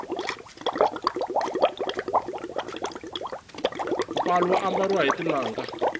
palu wu ambariwa hi tinanga